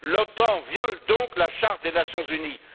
L'OTAN viole donc la Charte des Nations unies.